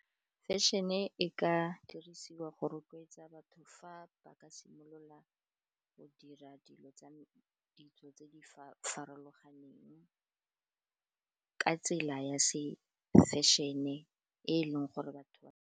Fashion-e e ka dirisiwa go rotloetsa batho fa ba ka simolola go dira dilo tsa ditso tse di farologaneng, ka tsela ya se fashion-e e leng gore batho .